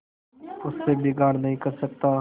उससे बिगाड़ नहीं कर सकता